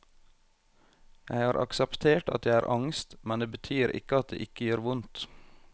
Jeg har akseptert at jeg har angst, men det betyr ikke at det ikke gjør vondt.